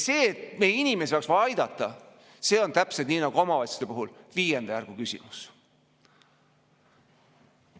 See, et meie inimesi oleks vaja aidata, on täpselt nii nagu omavalitsuste puhul viienda järgu küsimus.